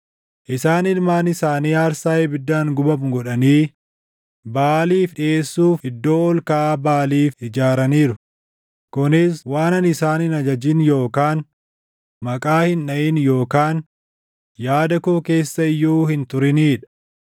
Isaan ilmaan isaanii aarsaa ibiddaan gubamu godhanii Baʼaaliif dhiʼeessuuf iddoo ol kaʼaa Baʼaaliif ijaaraniiru; kunis waan ani isaan hin ajajin yookaan maqaa hin dhaʼin yookaan yaada koo keessa iyyuu hin turinii dha.